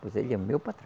Pois ele é meu patrão.